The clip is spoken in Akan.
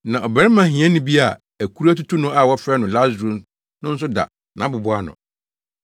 Na ɔbarima hiani bi a akuru atutu no a wɔfrɛ no Lasaro no nso da nʼabobow ano.